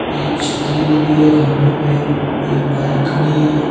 एक छतरी लगी है खंभे पे एक बाइक खड़ी है।